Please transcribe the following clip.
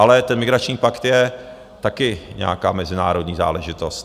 Ale ten migrační pakt je taky nějaká mezinárodní záležitost.